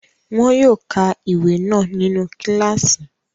Wọn yóò ka ìwé náà nínu kílààsì